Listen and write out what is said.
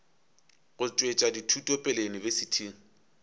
go tšwetša dithuto pele yunibesithing